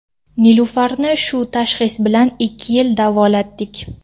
Nilufarni shu tashxis bilan ikki yil davolatdik.